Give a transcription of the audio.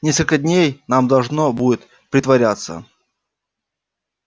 несколько дней нам должно будет притворяться